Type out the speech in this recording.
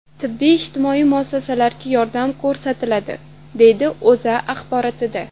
Tibbiy-ijtimoiy muassasalarga yordam ko‘rsatiladi”, deyiladi O‘zA axborotida.